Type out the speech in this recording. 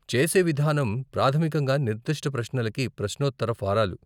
చేసే విధానం ప్రాథమికంగా నిర్దిష్ట ప్రశ్నలకి ప్రశ్నోత్తర ఫారాలు.